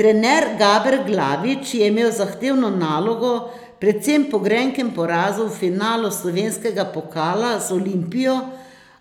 Trener Gaber Glavič je imel zahtevno nalogo predvsem po grenkem porazu v finalu slovenskega pokala z Olimpijo,